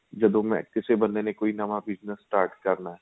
ਜਦੋਂ ਮੈਂ ਕਿਸੇ ਬੰਦੇ ਨੇ ਕੋਈ ਨਵਾਂ bigness start ਕਰਨਾ